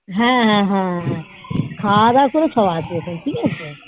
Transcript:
হ্যাঁ হ্যাঁ হ্যাঁখাওয়া দাওয়া করেই সবাই আসবে ঠিক আছে